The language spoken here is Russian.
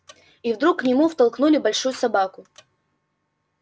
и вдруг к нему втолкнули большую собаку